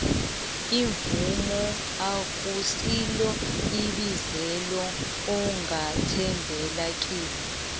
umvumo akusilo ibizelo ongathembela kilo